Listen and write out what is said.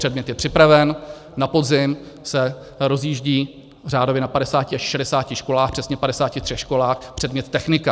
Předmět je připraven, na podzim se rozjíždí řádově na 50 až 60 školách, přesně 53 školách, předmět technika.